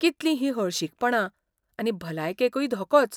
कितलीं ही हळशीकपणां आनी भलायकेकूय धोकोच!